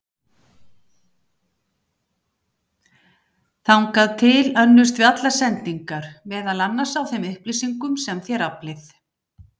Þangað til önnumst við allar sendingar, meðal annars á þeim upplýsingum sem þér aflið.